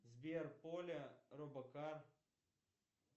сбер поля робокар